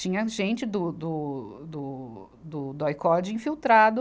Tinha gente do, do, do, do, do Aicode infiltrado.